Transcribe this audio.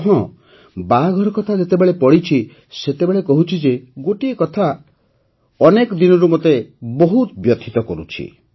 ଆଉ ହଁ ବାହାଘର କଥା ଯେତେବେଳେ ପଡ଼ିଛି ସେତେବେଳେ କହୁଛି ଯେ ଗୋଟିଏ କଥା ଅନେକ ଦିନରୁ ମୋତେ ବହୁତ ବ୍ୟଥିତ କରୁଛି